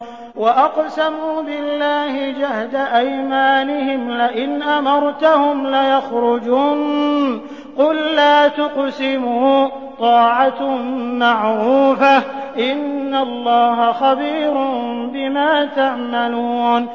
۞ وَأَقْسَمُوا بِاللَّهِ جَهْدَ أَيْمَانِهِمْ لَئِنْ أَمَرْتَهُمْ لَيَخْرُجُنَّ ۖ قُل لَّا تُقْسِمُوا ۖ طَاعَةٌ مَّعْرُوفَةٌ ۚ إِنَّ اللَّهَ خَبِيرٌ بِمَا تَعْمَلُونَ